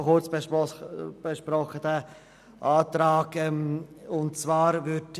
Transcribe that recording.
Auch wir von der SP-JUSO-PSAFraktion haben diesen Antrag kurz besprochen.